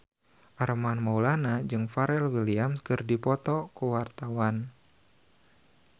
Armand Maulana jeung Pharrell Williams keur dipoto ku wartawan